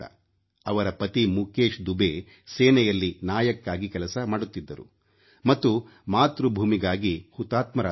ಅವರ ಪತಿ ಮುಕೇಶ್ ದುಬೆ ಸೇನೆಯಲ್ಲಿ ನಾಯಕ್ ಆಗಿ ಸೇವೆ ಮಾಡುತ್ತಿದ್ದರು ಮತ್ತು ಮಾತೃಭೂಮಿಗಾಗಿ ಹುತಾತ್ಮರಾದರು